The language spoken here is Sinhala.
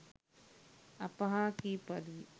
අප හා කී පරිදි